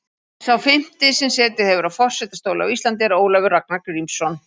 Sá fimmti sem setið hefur á forsetastóli á Íslandi er Ólafur Ragnar Grímsson.